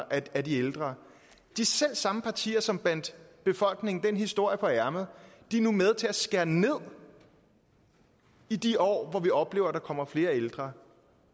af de ældre de selv samme partier som bandt befolkningen den historie på ærmet er nu med til at skære ned i de år hvor vi oplever at der kommer flere ældre